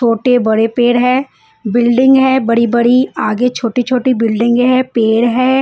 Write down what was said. छोटे बड़े पेड़ हैं बिल्डिंग है बड़ी बड़ी आगे छोटे छोटे बिल्डिंग है पेड़ है।